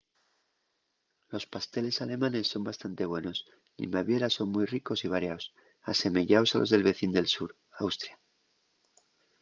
los pasteles alemanes son bastante buenos y en baviera son mui ricos y variaos asemeyaos a los del vecín del sur austria